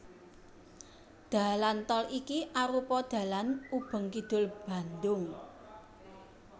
Dalan tol iki arupa dalan ubeng kidul Bandhung